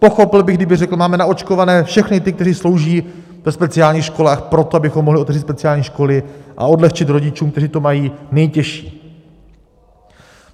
Pochopil bych, kdyby řekl: Máme naočkované všechny ty, kteří slouží ve speciálních školách, proto, abychom mohli otevřít speciální školy a odlehčit rodičům, kteří to mají nejtěžší.